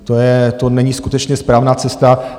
To není skutečně správná cesta.